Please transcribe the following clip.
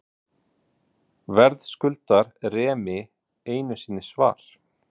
Verðskuldar Remi einu sinni svar?